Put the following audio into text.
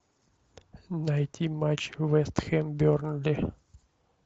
найти матч вест хэм бернли